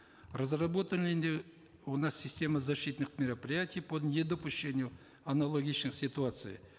разработаны у нас системы защитных мероприятий по недопущению аналогичных ситуаций